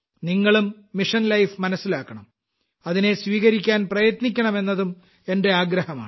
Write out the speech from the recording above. നിങ്ങളും mission life മനസ്സിലാക്കണം അതിനെ സ്വീകരിക്കാൻ പ്രയത്നിക്കണമെന്നതും എന്റെ ആഗ്രഹമാണ്